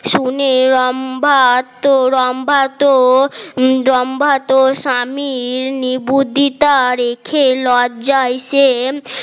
শুনে রম্ভা তো রম্ভা তো রম্ভা তো স্বামীর নিবেদিতা রেখে লজ্জায় সে